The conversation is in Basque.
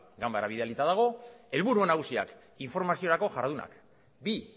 ganbaran bidalita dago helburu nagusiak informaziorako jardunak bi